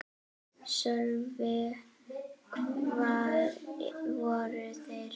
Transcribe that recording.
Sölvi: Hvar voru þeir?